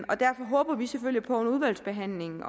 det derfor håber vi selvfølgelig på under udvalgsbehandlingen